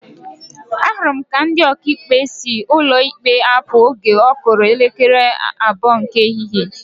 Ahụrụ m ka ndị Ọkaikpe si ụkọ ikpe apụ oge ọ kụrụ elekere abụọ nke ehihie